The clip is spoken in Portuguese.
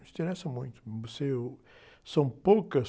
Não interessa muito. são poucas...